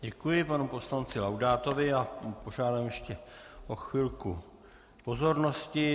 Děkuji panu poslanci Laudátovi a požádám ještě o chvilku pozornosti.